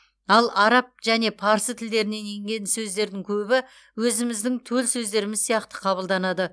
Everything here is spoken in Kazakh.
ал араб және парсы тілдерінен енген сөздердің көбі өзіміздің төл сөздеріміз сияқты қабылданады